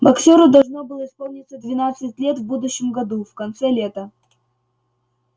боксёру должно было исполниться двенадцать лет в будущем году в конце лета